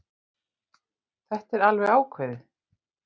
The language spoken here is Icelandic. Þetta er alveg ákveðið.